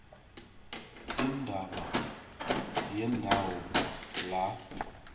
indaba yendawo la